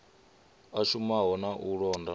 a shumaho na u londa